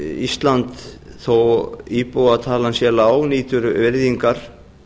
ísland þó að íbúatalan sé lág nýtur virðingar